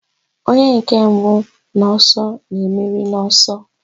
Onye nke mbụ n'ọsọ na-emeri n'ọsọ.